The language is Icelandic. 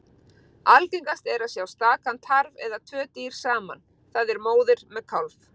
Algengast er að sjá stakan tarf eða tvö dýr saman, það er móðir með kálf.